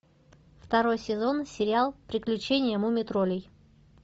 второй сезон сериал приключения муми троллей